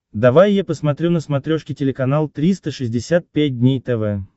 давай я посмотрю на смотрешке телеканал триста шестьдесят пять дней тв